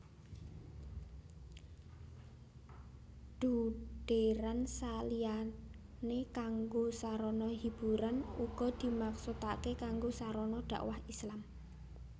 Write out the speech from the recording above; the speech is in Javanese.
Dhugdhèran saliyanékanggo sarana hiburan ugadimaksudaké kanggo sarana dakwah Islam